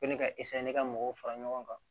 Ko ne ka ka mɔgɔw fara ɲɔgɔn kan